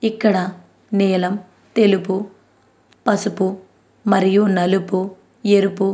ఇక్కడ నీలం తెలుపు పసుపు మరియు నలుపు ఎరుపు --